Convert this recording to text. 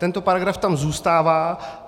Tento paragraf tam zůstává.